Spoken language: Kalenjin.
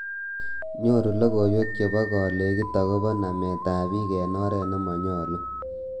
Nyoru lokoiwek chebo kolekit akobo nametab bik eng oret nemanyalu